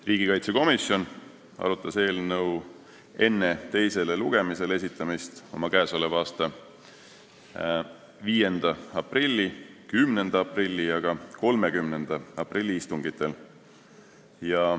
Riigikaitsekomisjon arutas eelnõu enne teisele lugemisele esitamist oma k.a 5. aprilli, 10. aprilli ja 30. aprilli istungil.